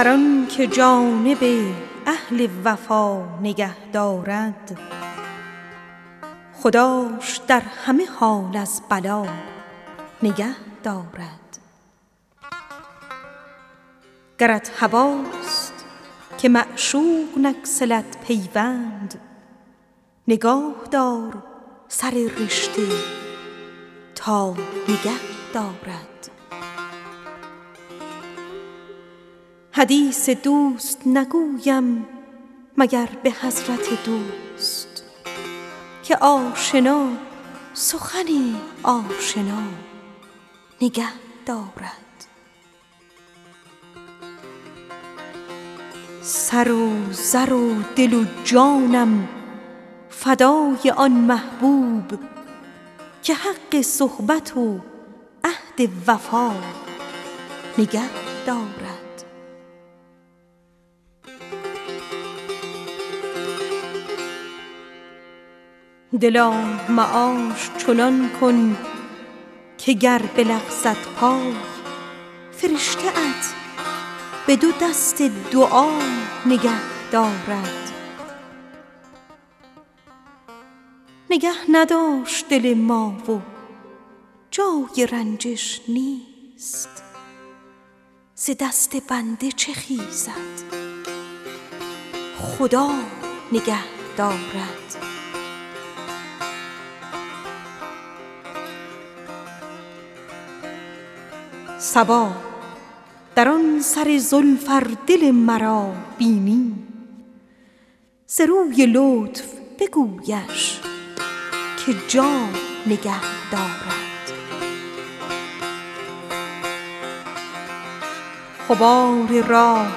هر آن که جانب اهل خدا نگه دارد خداش در همه حال از بلا نگه دارد حدیث دوست نگویم مگر به حضرت دوست که آشنا سخن آشنا نگه دارد دلا معاش چنان کن که گر بلغزد پای فرشته ات به دو دست دعا نگه دارد گرت هواست که معشوق نگسلد پیمان نگاه دار سر رشته تا نگه دارد صبا بر آن سر زلف ار دل مرا بینی ز روی لطف بگویش که جا نگه دارد چو گفتمش که دلم را نگاه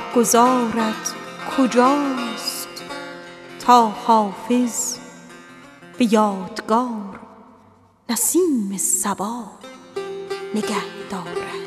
دار چه گفت ز دست بنده چه خیزد خدا نگه دارد سر و زر و دل و جانم فدای آن یاری که حق صحبت مهر و وفا نگه دارد غبار راهگذارت کجاست تا حافظ به یادگار نسیم صبا نگه دارد